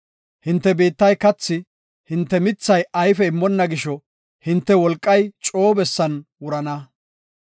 Hinte biittay kathi, hinte mithay ayfe immonna gisho hinte wolqay coo bessan wurana.